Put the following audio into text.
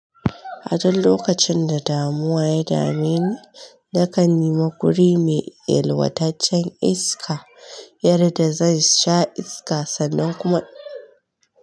A duk lokacin da damuwa ya dame ni, na kan nima guri mai yalwataccen iska, yarda zan sha iska sannan kuma.